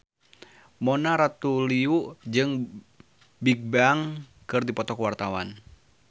Mona Ratuliu jeung Bigbang keur dipoto ku wartawan